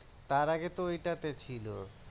তার আগে তো ওইটা তে ছিল